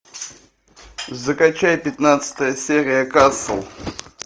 закачай пятнадцатая серия касл